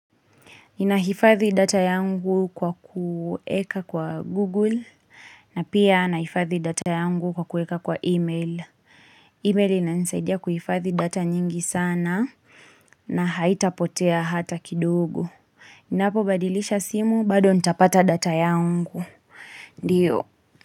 Ninahifadhi data yangu kwa kuweka kwa Google na pia nahifadhi data yangu kwa kuweka kwa email. Email inanisaidia kuhifadhi data nyingi sana na haitapotea hata kidogo. Ninapobadilisha simu bado nitapata data yangu. Ndiyo.